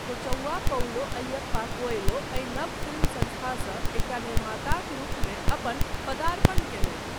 Kochavva Paulo Ayyappa Coelho एहि नव film संस्थासँ एकटा निर्माताक रूपमे अपन पदार्पण कयलथि।